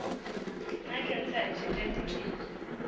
naa khentsa ya dzhende ndi mini